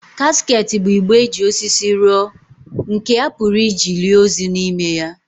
Casket bụ igbe e ji osisi rụọ nke a pụrụ iji lie ozu n'ime ya.